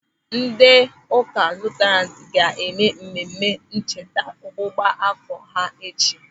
Ndị ụka Luterianu ga-eme mmemme ncheta ọgbụgba áfọ̀ ha echi.